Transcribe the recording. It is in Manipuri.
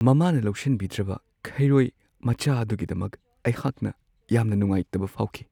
ꯃꯃꯥꯅ ꯂꯧꯁꯤꯟꯕꯤꯗ꯭ꯔꯕ ꯈꯩꯔꯣꯏ ꯃꯆꯥ ꯑꯗꯨꯒꯤꯗꯃꯛ ꯑꯩꯍꯥꯛꯅ ꯌꯥꯝꯅ ꯅꯨꯡꯉꯥꯏꯇꯕ ꯐꯥꯎꯈꯤ ꯫